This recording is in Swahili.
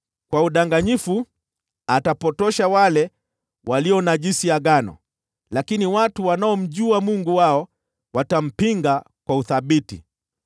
Kwa udanganyifu atapotosha wale walionajisi agano, lakini watu wanaomjua Mungu wao watampinga kwa uthabiti.